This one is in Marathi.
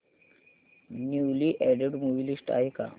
न्यूली अॅडेड मूवी लिस्ट आहे का